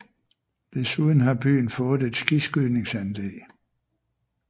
Desuden har byen fået et skiskydningsanlæg